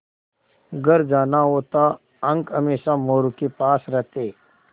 घर जाना होता अंक हमेशा मोरू के पास रहते